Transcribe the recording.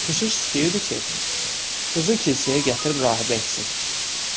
Keşiş istəyirdi ki, qızı kilsəyə gətirib rahibə etsin.